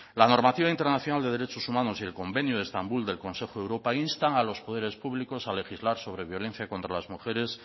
la normativa internacional de derechos humanos y el convenio de estambul del consejo de europa instan a los poderes públicos a legislar sobre violencia contra las mujeres